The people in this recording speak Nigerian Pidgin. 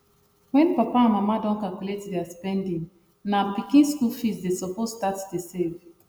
wen papa and mama don calculate their spendingna pikin skul fees dey suppose start the save